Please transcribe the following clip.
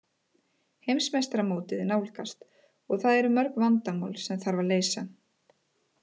Heimsmeistaramótið nálgast og það eru mörg vandamál sem þarf að leysa.